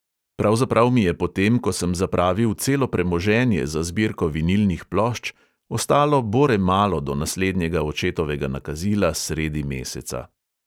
Pravzaprav mi je po tem, ko sem zapravil celo premoženje za zbirko vinilnih plošč, ostalo bore malo do naslednjega očetovega nakazila sredi meseca.